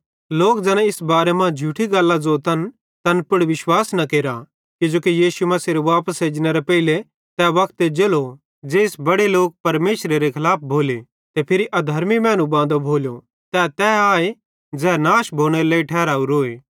लोक ज़ैना इस बारे मां झूठी गल्लां ज़ोतन तैन पुड़ विश्वास न केरा किजोकि यीशु मसीहेरे वापस एजनेरे पेइले तै वक्त एज्जेलो ज़ेइस बड़े लोक परमेशरेरे खलाफ भोले ते फिरी अधर्मी मैनू बांदो भोलो तै तै आए ज़ै नाश भोनेरे लेइ ठहरावरोए